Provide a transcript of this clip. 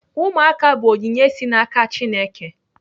Ụmụaka bụ onyinye si n'aka Chineke.